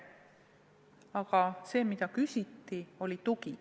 Aga tegelikult küsiti tuge.